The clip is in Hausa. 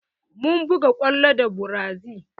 Mun buga kwallo da brazi